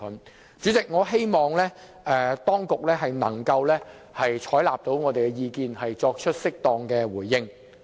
代理主席，我希望當局能夠採納我們的意見，作出適當的回應。